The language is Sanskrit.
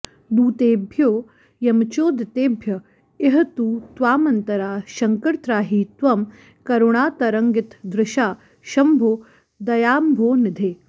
दूतेभ्यो यमचोदितेभ्य इह तु त्वामन्तरा शंकर त्राहि त्वं करुणातरङ्गितदृशा शंभो दयाम्भोनिधे